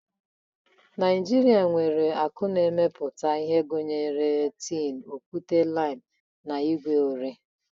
Naijirịa nwere akụ na-emepụta ihe gụnyere tin, okwute-lime, na igwe ore.